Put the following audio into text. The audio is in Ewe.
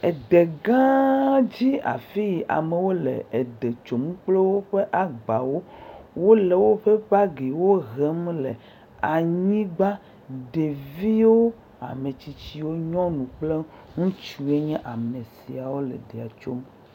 De gãa dzi afii amewo le de tsom kple woƒe agbawo, wole woƒe bagiwo hem le anyigba, ɖevio, ametsitsiwo, nyɔnu kple ŋutsuwo nye ame siawo le dea tsom.